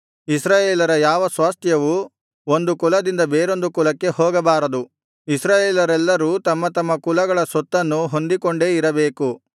ಇಸ್ರಾಯೇಲರ ಯಾವ ಸ್ವಾಸ್ತ್ಯವೂ ಒಂದು ಕುಲದಿಂದ ಬೇರೊಂದು ಕುಲಕ್ಕೆ ಹೋಗಬಾರದು ಇಸ್ರಾಯೇಲರೆಲ್ಲರೂ ತಮ್ಮತಮ್ಮ ಕುಲಗಳ ಸ್ವತ್ತನ್ನು ಹೊಂದಿಕೊಂಡೇ ಇರಬೇಕು